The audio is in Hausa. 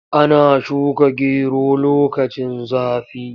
Ana shuka gero lokacin zafi.